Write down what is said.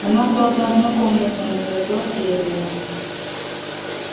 она правда однокомнатная но зато отдельная